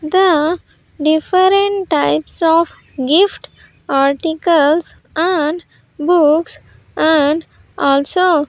The different types of gift articles and books and also --